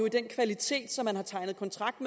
i den kvalitet som man har tegnet kontrakt